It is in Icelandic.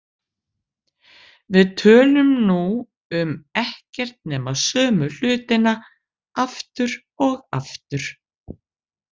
Við tölum nú um ekkert nema sömu hlutina aftur og aftur.